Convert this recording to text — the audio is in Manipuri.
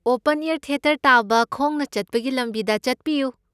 ꯑꯣꯄꯟ ꯑꯦꯌꯔ ꯊꯤꯌꯦꯇꯔ ꯇꯥꯕ ꯈꯣꯡꯅ ꯆꯠꯄꯒꯤ ꯂꯝꯕꯤꯗ ꯆꯠꯄꯤꯌꯨ꯫